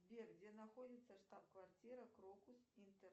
сбер где находится штаб квартира крокус интер